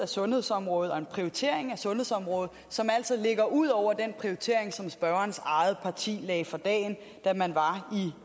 sundhedsområdet og en prioritering af sundhedsområdet som altså ligger ud over den prioritering som spørgerens eget parti lagde for dagen da man var